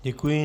Děkuji.